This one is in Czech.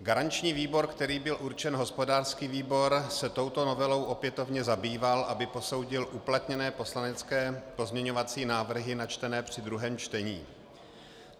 Garanční výbor, kterým byl určen hospodářský výbor, se touto novelou opětovně zabýval, aby posoudil uplatněné poslanecké pozměňovací návrhy načtené při druhém čtení.